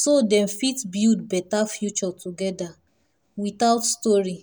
so them fit build better future together without story.